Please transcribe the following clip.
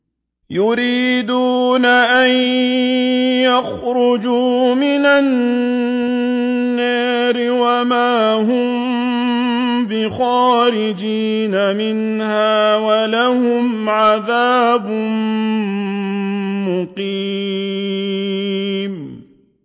يُرِيدُونَ أَن يَخْرُجُوا مِنَ النَّارِ وَمَا هُم بِخَارِجِينَ مِنْهَا ۖ وَلَهُمْ عَذَابٌ مُّقِيمٌ